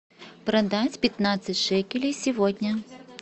продать пятнадцать шекелей сегодня